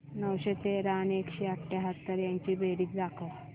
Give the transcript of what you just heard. नऊशे तेरा आणि एकशे अठयाहत्तर यांची बेरीज दाखव